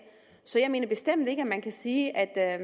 så jeg mener bestemt ikke at man kan sige at